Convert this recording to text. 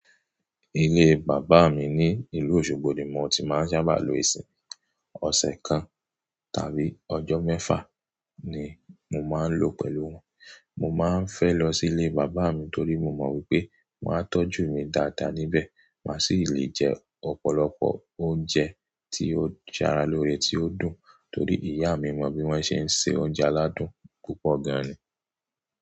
Ilé bàbá mi ní ìlú Òṣogbo ni mo ti máa ń sábà lo ìsìn. Ọ̀sẹ̀ kan tàbí ọjọ́ mẹ́fà ni mo máa ń lo pẹ̀lú wọn. Mo máa ń fẹ́ lọ sí ilé bàbá mi torí mo mọ̀ wípé wọn a tọ́jú mi dáadáa níbẹ̀. Máa sì lè jẹ ọ̀pọ̀lọpọ̀ oúnjẹ tí ó ṣara lóore, tí ó dùn. Torí ìyá mi mọ bí wọ́n ṣe ń se oúnjẹ aládùn púpọ̀ gan-an ni.